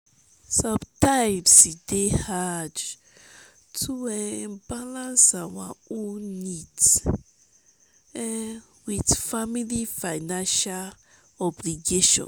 sometimes e dey hard to um balance our own needs um with family financial obligations.